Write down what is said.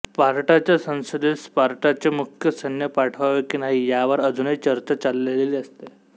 स्पार्टाच्या संसदेत स्पार्टाचे मुख्य सैन्य पाठवावे की नाही यावर अजूनही चर्चा चाललेली असते